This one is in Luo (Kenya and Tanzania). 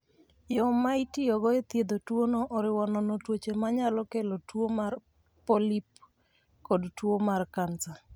Yo ma itiyogo e thiedho tuwono oriwo nono tuoche ma nyalo kelo tuo mar polip kod tuo mar kansa.